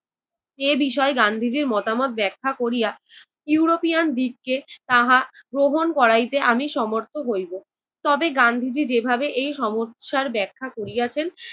এই বিষয়ে গান্ধীজির মতামত ব্যাখ্যা করিয়া ইউরোপিয়ানদিগকে তাহা গ্রহণ করাইতে আমি সমর্থ হইবো। তবে গান্ধীজি যেভাবে এই সমুৎসার ব্যাখ্যা করিয়াছেন